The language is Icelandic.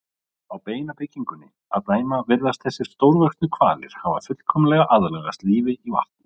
Á beinabyggingunni að dæma virðast þessir stórvöxnu hvalir hafa fullkomlega aðlagast lífi í vatn.